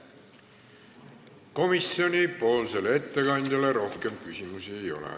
Komisjonipoolsele ettekandjale rohkem küsimusi ei ole.